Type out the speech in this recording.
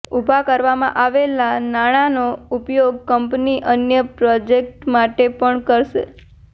ઊભા કરવામાં આવેલાં નાણાંનો ઉપયોગ કંપની અન્ય પ્રોજેક્ટ માટે પણ કરશે